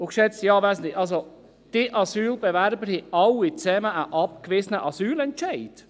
– Geschätzte Anwesende: Diese Asylbewerber haben alle zusammen einen abgewiesenen Asylentscheid.